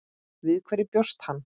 Við hverju bjóst hann?